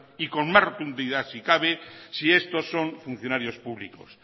y con más rotundidad si cabe si estos son funcionarios públicos